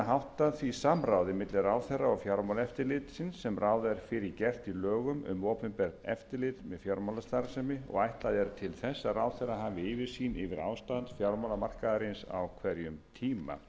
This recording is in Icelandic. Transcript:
háttað því samráði milli ráðherra og fjármálaeftirlitsins sem ráð er fyrir gert í lögum um opinbert eftirlit með fjármálastarfsemi og ætlað er til þess að ráðherra hafi yfirsýn yfir ástand fjármálamarkaðarins á hverjum tíma í öðru